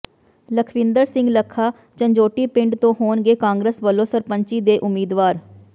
ਲਖਵਿੰਦਰ ਸਿੰਘ ਲੱਖਾ ਝੰਜੋਟੀ ਪਿੰਡ ਤੋਂ ਹੋਣਗੇ ਕਾਂਗਰਸ ਵਲੋਂ ਸਰਪੰਚੀ ਦੇ ਉਮੀਦਵਾਰ